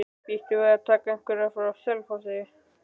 Býstu við að taka einhverja frá Selfossi?